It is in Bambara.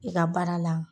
I ka baara la